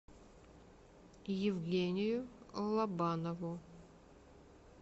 евгению лобанову